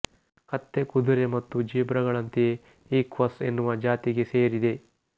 ಕತ್ತೆ ಕುದುರೆ ಮತ್ತು ಜೀಬ್ರಗಳಂತೆಯೇ ಈಕ್ವಸ್ ಎನ್ನುವ ಜಾತಿಗೆ ಸೇರಿದೆ